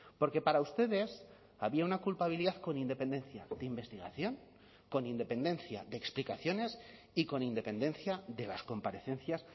porque para ustedes había una culpabilidad con independencia de investigación con independencia de explicaciones y con independencia de las comparecencias